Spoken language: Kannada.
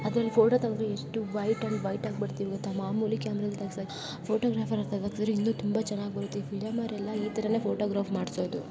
ಅದರಲ್ಲಿ ಫೋಟೋ ತಗುದ್ರೆ ಎಷ್ಟು ವೈಟ್ ಅಂಡ್ ವೈಟ್ ಆಗಿ ಬರ್ತಿವಿ ಗೊತ್ತ ಮಾಮೂಲಿ ಕ್ಯಾಮೆರಾ ದಲ್ಲಿ ತೆಗೆಸಾಕಿನ್ನ ಫೋಟೋಗ್ರಾಫರ್ ಅತ್ರ ತೆಗಸುದ್ರೆ ಇನ್ನೂ ತುಂಬಾ ಚೆನ್ನಾಗ್ ಬರುತ್ತೆ. ಈ ಫಿಲಂ ಅವ್ರ್ ಎಲ್ಲಾ ಈ ತರನೇ ಫೋಟೋಗ್ರಾಫ್ ಮಾಡ್ಸೋದು.